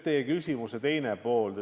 Teie küsimuse teine pool.